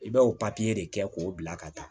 I bɛ o papiye de kɛ k'o bila ka taa